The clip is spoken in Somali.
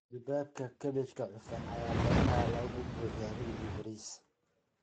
Duubabka kaabajka cufan ayaa badanaa laga buuxiyaa hilib iyo bariis.